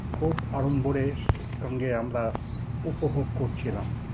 খুব আড়ম্বরের সঙ্গে আমরা উপভোগ করছিলাম